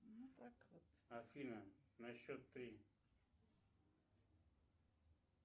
афина на счет три